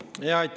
Küsimus!